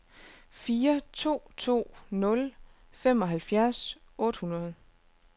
fire to to nul femoghalvfjerds otte hundrede